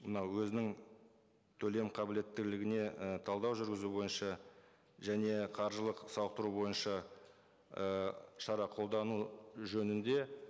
мынау өзінің төлем қабілеттілігіне і талдау жүргізу бойынша және қаржылық сауықтыру бойынша і шара қолдану жөнінде